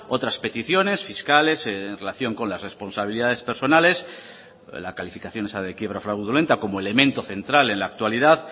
otras peticiones fiscales en relación con las responsabilidades personales la calificación esa de quiebra fraudulenta como elemento central en la actualidad